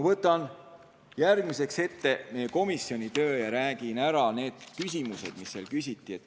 Annan järgmisena ülevaate meie komisjoni tööst ja räägin küsimustest, mis seal küsiti.